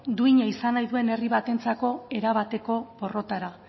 duina izan nahi duen herri batentzako erabateko porrota da